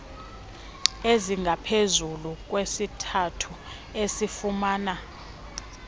ezingaphezu kwesithathu asifumana